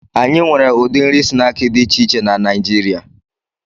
Anyị nwere ụdị nri snaakị dị iche iche na Naijiria